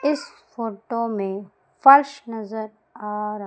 इस फोटो में फर्श नजर आ र--